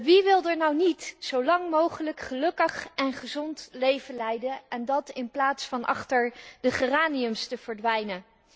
Wie wil er nu niet zo lang mogelijk een gelukkig en gezond leven leiden en dat in plaats van achter de geraniums te verdwijnen?